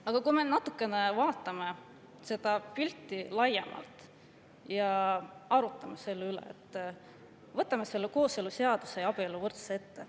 Aga vaatame seda pilti natukene laiemalt ja arutame selle üle, võtame ette kooseluseaduse ja abieluvõrdsuse.